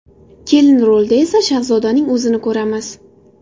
Kelin rolida esa Shahzodaning o‘zini ko‘ramiz.